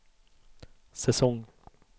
säsong